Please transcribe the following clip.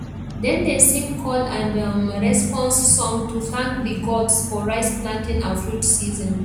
dem dey sing call and um response song to thank the gods for rice planting and fruit season